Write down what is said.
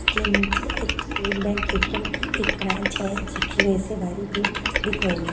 के नीचे एक स्टेट बैंक ए.टी.एम. की एक ब्रांच है जिकी वजह से भारी भीड़ दिख रही है।